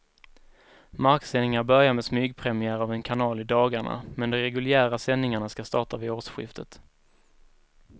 Marksändningar börjar med smygpremiär av en kanal i dagarna, men de reguljära sändningarna ska starta vid årsskiftet.